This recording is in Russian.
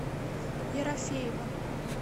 ерофеева